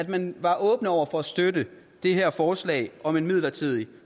man var åbne over for at støtte det her forslag om en midlertidig